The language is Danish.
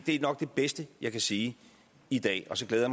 er nok det bedste jeg kan sige i dag og så glæder